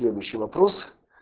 следующий вопрос